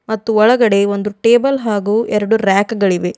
ಮತ್ತು ಒಳಗಡೆ ಒಂದು ಟೇಬಲ್ ಹಾಗೂ ಎರಡು ರ್ಯಾಕ್ ಗಳು ಇವೆ.